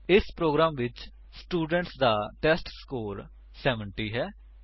ਇਸ ਪ੍ਰੋਗਰਾਮ ਵਿੱਚ ਸਟੂਡੇਂਟ ਦਾ ਟੈਸਟਸਕੋਰ 70 ਹੈ